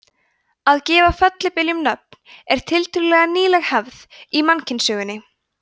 að gefa fellibyljum nöfn er tiltölulega nýleg hefð í mannkynssögunni